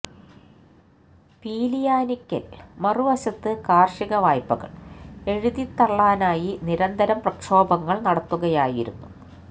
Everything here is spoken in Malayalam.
പീലിയാനിക്കൽ മറുവശത്ത് കാർഷിക വായ്പകൾ എഴുതിത്ത്ത്ത്തള്ളാനായി നിരന്തരം പ്രക്ഷോഭങ്ങൾ നടത്തുകയായിരുന്നു